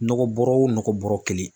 Nɔgɔ bɔrɔ o nɔgɔ bɔrɔ kelen.